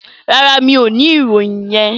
No, I don't have that information.